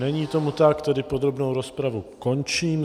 Není tomu tak, tedy podrobnou rozpravu končím.